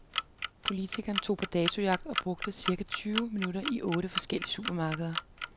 Politiken tog på datojagt og brugte cirka tyve minutter i otte forskellige supermarkeder.